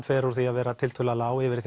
fer úr því að vera tiltölulega lág yfir í